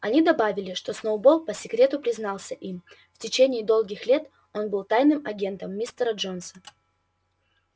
они добавили что сноуболл по секрету признался им в течение долгих лет он был тайным агентом мистера джонса